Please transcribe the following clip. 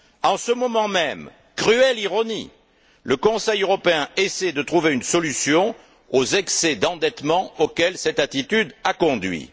En ce moment même, cruelle ironie, le Conseil européen essaie de trouver une solution aux excès d'endettement auxquels cette attitude a conduit.